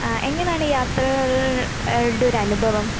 ആഹ് എങ്ങനാണ് യാത്രകൾടെ ഒരനുഭവം?